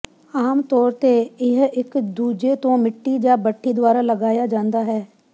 ਆਮ ਤੌਰ ਤੇ ਇਹ ਇੱਕ ਦੂਜੇ ਤੋਂ ਮਿੱਟੀ ਜਾਂ ਭੱਠੀ ਦੁਆਰਾ ਲਗਾਇਆ ਜਾਂਦਾ ਹੈ